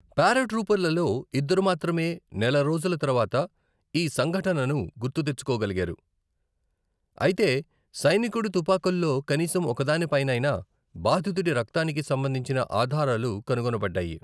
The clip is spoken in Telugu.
పారాట్రూపర్లలో ఇద్దరు మాత్రమే నెల రోజుల తర్వాత ఈ సంఘటనను గుర్తు తెచుకోగలిసారు, అయితే సైనికుడి తుపాకుల్లో కనీసం ఒకదానిపైనైనా బాధితుడి రక్తానికి సంబంధించిన ఆధారాలు కనుగొనబడ్డాయి.